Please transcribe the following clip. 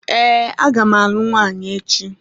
Ee, a ga m alụ nwaanyị echi.